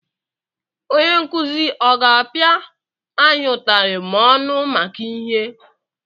Onye nkuzi aga apịa anyị utarị ma ọ nụ maka ihe?